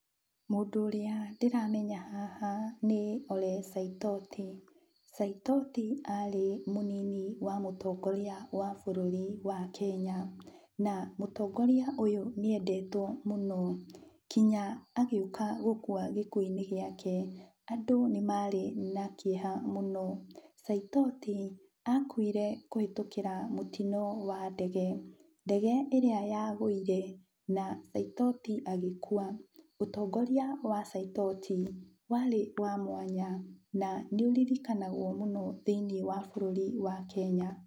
Mũndũ ũrĩa ndĩramenya haha nĩ Ole Saitoti. Saitoti arĩ mũnini wa mũtongoria wa bũrũri wa Kenya. Na mũtongoria ũyũ nĩ endetwo mũno, kinya agĩũka gũkua gĩkuũ-inĩ gũake, andũ nĩ marĩ na kĩeha mũno. Saitotio akuire kũhĩtũkĩra mũtino wa ndege. Ndege ĩrĩa yagũire na Saitoti agĩkua. Ũtongoria wa Saitoti warĩ wa mwanya na nĩũririkanagwo mũno thĩiniĩ wa bũrũri wa Kenya.